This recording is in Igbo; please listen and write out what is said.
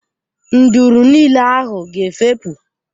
Nduru niile ahụ ga efepụ.